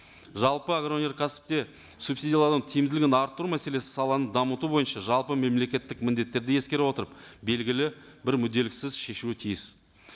жалпы агроөнеркәсіпте субсидиялау тиімділігін арттыру мәселесі саланы дамыту бойынша жалпы мемлекеттік міндеттерді ескере отырып белгілі бір мүдделіксіз шешуі тиіс